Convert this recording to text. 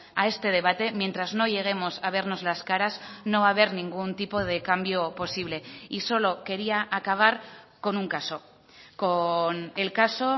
a este debate mientras no lleguemos a vernos las caras no va haber ningún tipo de cambio posible y solo quería acabar con un caso con el caso